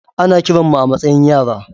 Ana kiran mu a matsayin yara.